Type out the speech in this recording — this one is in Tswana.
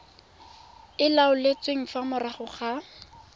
e laotsweng fa morago ga